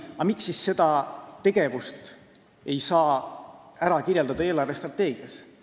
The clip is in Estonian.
Aga miks siis seda tegevust ei saa kirjeldada eelarvestrateegias?